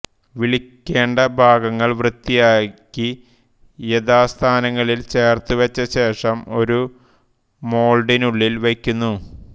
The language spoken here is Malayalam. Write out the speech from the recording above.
വിളക്കേണ്ട ഭാഗങ്ങൾ വൃത്തിയാക്കി യഥാസ്ഥാനങ്ങളിൽ ചേർത്തുവച്ചശേഷം ഒരു മോൾഡിനുള്ളിൽ വയ്ക്കുന്നു